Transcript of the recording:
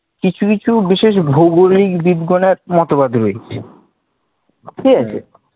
কিছু কিছু বিশেষ ভৌগলিক বিজ্ঞানের মতবাদ রয়েছে, ঠিক আছে